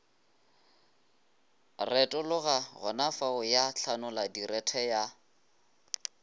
retologa gonafao ya hlanoladirethe ya